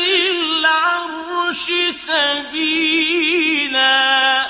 ذِي الْعَرْشِ سَبِيلًا